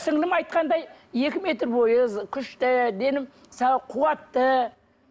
сіңлілім айтқандай екі метр бойы күшті дені сау қуатты